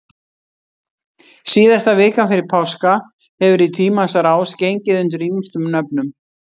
Síðasta vikan fyrir páska hefur í tímans rás gengið undir ýmsum nöfnum.